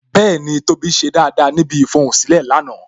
Bẹẹni, tóbi ṣe dáadáa níbi ifohunsilẹ lánàá